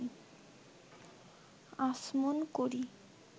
আচমন করি